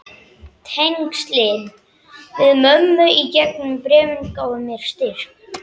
Tengslin við mömmu í gegnum bréfin gáfu mér styrk.